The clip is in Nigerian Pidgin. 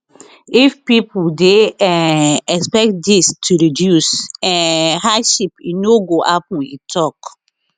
if pipo dey um expect dis to reduce um hardship e no go happen e tok